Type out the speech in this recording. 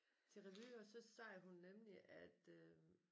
Til revy og så sagde hun nemlig at øh